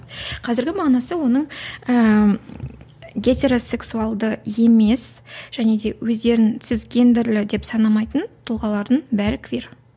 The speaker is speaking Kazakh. қазіргі мағынасы оның ііі гетеросексуалды емес және де өздерін цисгендерлі деп санамайтын тұлғалардың бәрі квир